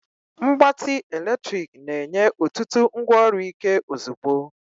Mgbatị eletrik na-enye otutu ngwaọrụ Ike ozugbo.